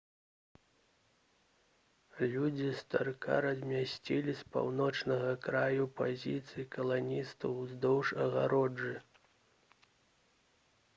людзі старка размясціліся з паўночнага краю пазіцый каланістаў уздоўж агароджы